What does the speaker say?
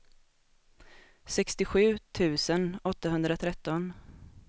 sextiosju tusen åttahundratretton